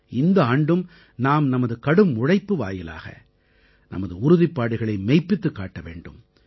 இந்த ஆண்டும் நாம் நமது கடும் உழைப்பு வாயிலாக நமது உறுதிப்பாடுகளை மெய்ப்பித்துக் காட்ட வேண்டும்